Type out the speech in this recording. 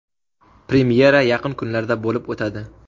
Premyera yaqin kunlarda bo‘lib o‘tadi.